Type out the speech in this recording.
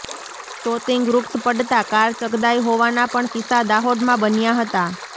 તોતીંગ વૃક્ષ પડતાં કાર ચગદાઇ હોવાના પણ કિસ્સા દાહોદમાં બન્યા હતા